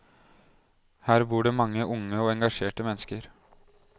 Her bor det mange unge og engasjerte mennesker.